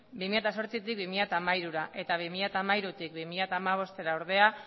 bi mila zortzitik bi mila hamairura eta bi mila hamairutik bi mila hamabostera ordea